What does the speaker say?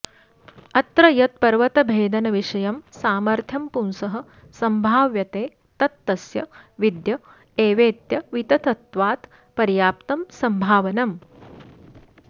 अत्र यत् पर्वतभेदनविषयं सामथ्र्यं पुंसः सम्भाव्यते तत् तस्य विद्य एवेत्यवितथत्वात् पर्याप्तं सम्भावनम्